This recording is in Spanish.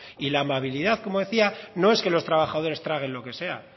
y la amabilidad como decía no es que los trabajadores traguen lo que sea